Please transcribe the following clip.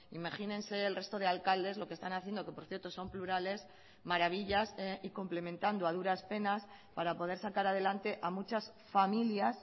imagínense el resto de alcaldes lo que están haciendo que por cierto son plurales maravillas y complementando a duras penas para poder sacar adelante a muchas familias